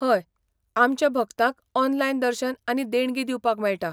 हय, आमच्या भक्तांक ऑनलायन दर्शन आनी देणगी दिवपाक मेळटा.